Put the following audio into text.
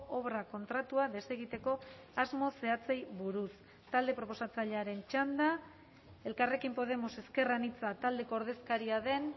obra kontratua desegiteko asmo zehatzei buruz talde proposatzailearen txanda elkarrekin podemos ezker anitza taldeko ordezkaria den